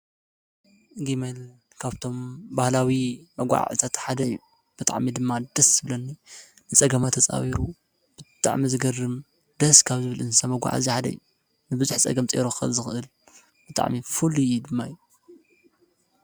ግመል ካብቶም ባህላዊ መጋዓዓዝታት ሓደ እዩ ።ብጣዕሚ ድማ ደስ ዝብለኒ ንፀገማት ተፃዊሩ ብጣዕሚ ዝገርም ደስ ካብ ዝብለኒ እንስሳ መጓዓዐዚ ሓደ እዩ። ብዙሕ ፀገም ፀይሩ ክኸድ ዝኽእል ብጣዕሚ ፍሉይ ድማ እዩ።